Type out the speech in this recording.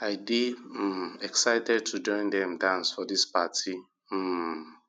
i dey um excited to join dem dance for dis party um